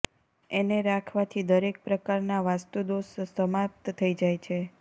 એને રાખવાથી દરેક પ્રકાર ના વાસ્તુ દોષ સમાપ્ત થઇ જાય છે